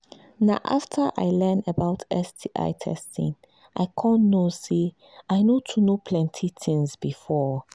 na after i learn about sti testing i come know say i no too know plenty things before